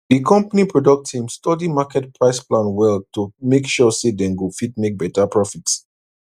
di company product team study market price plan well to make sure say dem go fit make better profit